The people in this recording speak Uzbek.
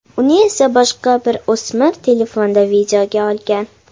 Uni esa boshqa bir o‘smir telefonda videoga olgan.